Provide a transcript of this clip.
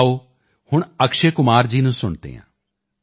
ਆਓ ਹੁਣ ਅਕਸ਼ੇ ਕੁਮਾਰ ਜੀ ਨੂੰ ਸੁਣਦੇ ਹਾਂ